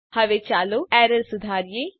હવે ચાલો એરર સુધારીએ